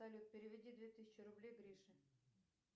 салют переведи две тысячи рублей грише